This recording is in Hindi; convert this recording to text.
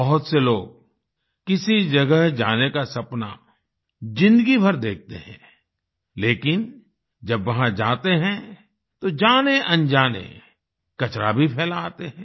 बहुत से लोग किसी जगह जाने का सपना ज़िन्दगी भर देखते हैं लेकिन जब वहाँ जाते हैं तो जानेअनजाने कचरा भी फैला आते हैं